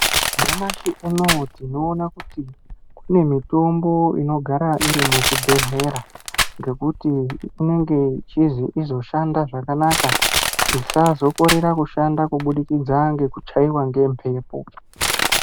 Nyamashi unowu tinoona kuti kune mitombo inogara iri muzvibhedhlera ngokuti inenge ichizi izoshanda zvakanaka isazokorera kushanda kubudikidza ngekuchaiwa ngemphepo.